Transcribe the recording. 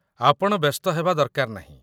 ଆପଣ ବ୍ୟସ୍ତ ହେବା ଦରକାର ନାହିଁ